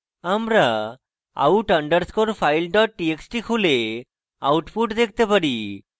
আমরা out underscore file dot txt খুলে output দেখতে পারি